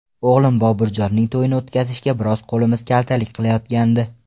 O‘g‘lim Boburjonning to‘yini o‘tkazishga biroz qo‘limiz kaltalik qilayotgandi.